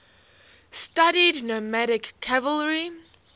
studied nomadic cavalry